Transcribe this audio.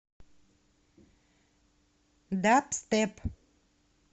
дабстеп